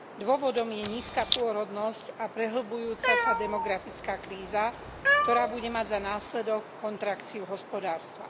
Dôvodom je nízka pôrodnosť a prehlbujúca sa demografická kríza, ktorá bude mať za následok kontrakciu hospodárstva.